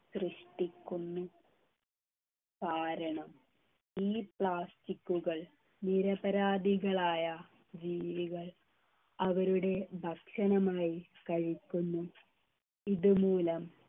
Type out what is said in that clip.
സൃഷ്ടിക്കുന്നു കാരണം ഈ plastic കൾ നിരപരാധികളായ ജീവികൾ അവരുടെ ഭക്ഷണമായി കഴിക്കുന്നു ഇതുമൂലം